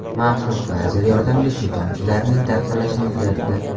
Maxsus lazer yordamida suv tomchilarining tarqalishini kuzatdi.